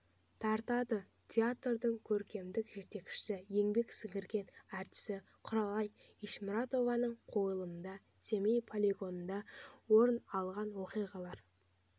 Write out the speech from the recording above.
тартады театрдың көркемдік жетекшісі еңбек сіңірген артисі құралай ешмұратованың қойылымында семей полигонында орын алған оқиғалар